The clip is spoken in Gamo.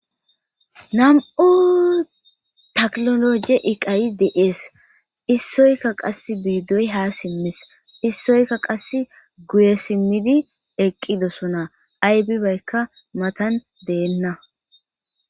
nam7u taklologe iqayi de7ees issoyka qas biidoy haa simmis issoykka qass guye simmidi eqqidosuna aybibaykka matan deenna